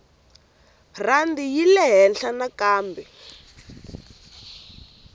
rhandi yi yile ehenhla nakambe